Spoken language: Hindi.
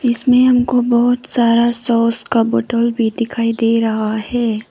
इसमें हमको बहुत सारा सॉस का बॉटल भी दिखाई दे रहा है।